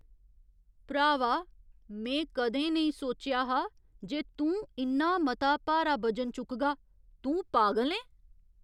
भ्रावा! में कदें नेईं सोचेआ हा जे तूं इन्ना मता भारा बजन चुकगा, तूं पागल ऐं! !